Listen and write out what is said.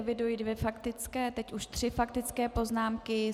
Eviduji dvě faktické, teď už tři faktické poznámky.